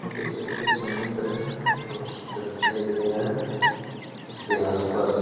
ये देख सकते है समुन्द्र है। ये बहुत सुन्दर दिखाई दे रहा है। इसके आस-पास --